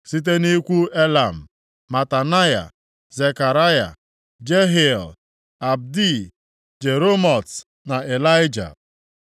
Site nʼikwu Elam: Matanaya, Zekaraya, Jehiel, Abdi, Jeremot na Ịlaịja.